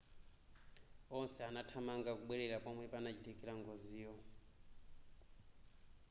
onse anathamanga kubwerera pomwe panachitikira ngoziyo